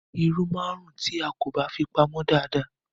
Irú máa ń rún tí a kò bá fi pamô dada.